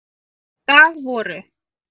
Í dag voru